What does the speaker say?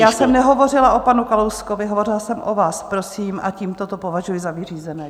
Já jsem nehovořila o panu Kalouskovi, hovořila jsem o vás, prosím, a tímto to považuji za vyřízené.